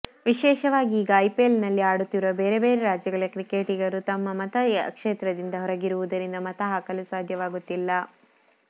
ವಿಶೇಷವಾಗಿ ಈಗ ಐಪಿಎಲ್ನಲ್ಲಿ ಆಡುತ್ತಿರುವ ಬೇರೆ ಬೇರೆ ರಾಜ್ಯಗಳ ಕ್ರಿಕೆಟಿಗರು ತಮ್ಮ ಮತ ಕ್ಷೇತ್ರದಿಂದ ಹೊರಗಿರುವುದರಿಂದ ಮತ ಹಾಕಲು ಸಾಧ್ಯವಾಗುತ್ತಿಲ್ಲ